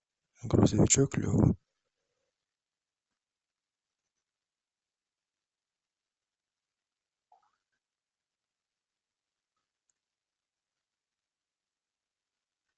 грузовичок лева